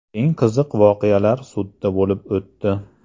Eng qiziq voqealar sudda bo‘lib o‘tdi.